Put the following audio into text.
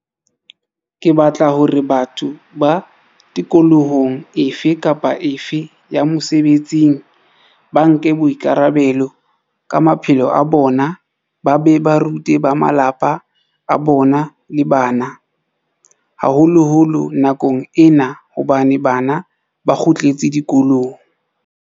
Ke batla hore batho ba tikolohong efe kapa efe ya mosebetsing ba nke boikara-belo ka maphelo a bona ba be ba rute ba malapa a bona le bana, haholoholo nakong ena hobane bana ba kgutletse dikolong.